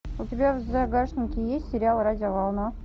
у тебя в загашнике есть сериал радио волна